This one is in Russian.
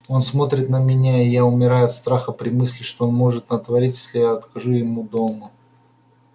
он смотрит на меня и я умираю от страха при мысли что он может натворить если я откажу ему дома